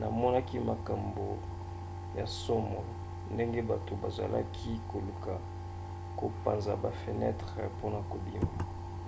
namonaki makambo ya nsomo ndenge bato bazalaki koluka kopanza bafenetre mpona kobima